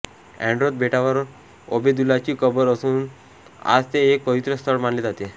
एन्ड्रोथ बेटावर ओबेदुल्लाची कबर असून आज ते एक पवित्र स्थळ मानले जाते